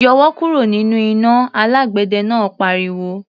"Yọwọ́ kúrò nínú iná!" Alágbẹ̀dẹ náà pariwo.